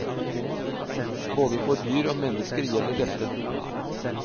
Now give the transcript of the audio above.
Både for dyr og mennesker gjelder dette.